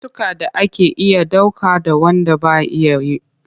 Akwai cututtukan da ake iya dauka da wand ba a iyawa.